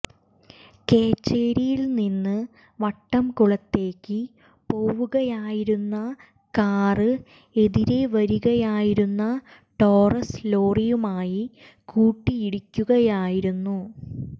കേച്ചേരിയില്നിന്ന് വട്ടംകുളത്തേക്ക് പോവുകയായിരുന്ന കാര് എതിരേ വരികയായിരുന്ന ടോറസ് ലോറിയുമായി കൂട്ടിയിടിക്കുകയായിരുന്നു